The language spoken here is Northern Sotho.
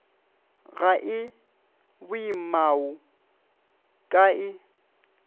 ga e boimao ka e